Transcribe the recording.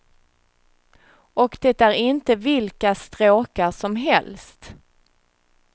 Och det är inte vilka stråkar som helst.